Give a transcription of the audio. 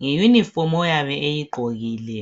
nge uniform oyabe eyigqokile .